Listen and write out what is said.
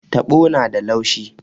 Taɓo na da laushi.